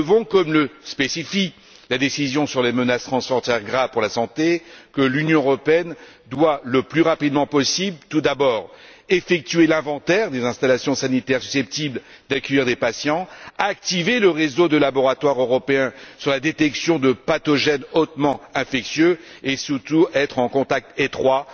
Comme le spécifie la décision sur les menaces transfrontières graves pour la santé, l'Union européenne doit, le plus rapidement possible, tout d'abord effectuer l'inventaire des installations sanitaires susceptibles d'accueillir des patients, activer le réseau de laboratoires européens sur la détection de pathogènes hautement infectieux et surtout être en contact étroit